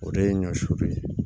O de ye ɲɔ sun ye